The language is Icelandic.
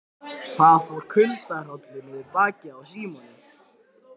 Það fór kuldahrollur niður bakið á Símoni.